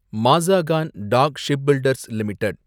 Mazagon Dock Shipbuilders limited